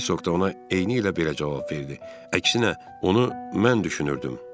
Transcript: Hersoq da ona eynilə belə cavab verdi: Əksinə, onu mən düşünürdüm.